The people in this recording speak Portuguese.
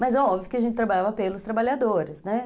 Mas é óbvio que a gente trabalhava pelos trabalhadores, né?